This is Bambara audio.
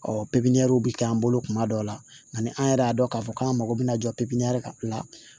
Ɔ pipiniyɛri bɛ k'an bolo kuma dɔw la ani an yɛrɛ y'a dɔn k'a fɔ k'an mago bɛ na jɔ ka la